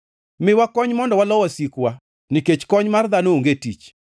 Miwa kony mondo walo wasikwa, nikech kony mar dhano onge tich.